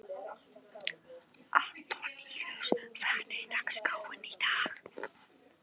Antoníus, hvernig er dagskráin í dag?